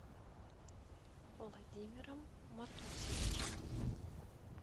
владимиром матусевичем